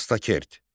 Dastaqert.